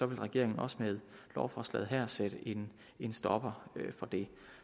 vil regeringen også med lovforslaget her sætte en en stopper for det